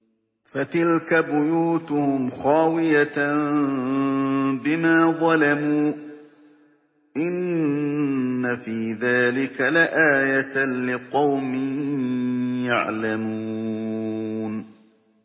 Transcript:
فَتِلْكَ بُيُوتُهُمْ خَاوِيَةً بِمَا ظَلَمُوا ۗ إِنَّ فِي ذَٰلِكَ لَآيَةً لِّقَوْمٍ يَعْلَمُونَ